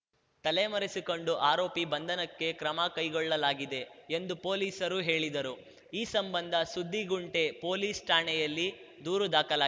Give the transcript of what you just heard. ತಲೆಮರೆಸಿಕೊಂಡು ಆರೋಪಿ ಬಂಧನಕ್ಕೆ ಕ್ರಮಕೈಗೊಳ್ಳಲಾಗಿದೆ ಎಂದು ಪೊಲೀಸರು ಹೇಳಿದರು ಈ ಸಂಬಂಧ ಸುದ್ದಿಗುಂಟೆ ಪೊಲೀಸ್‌ ಠಾಣೆಯಲ್ಲಿ ದೂರು ದಾಖಲಾ